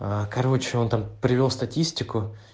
короче он там привёл статистику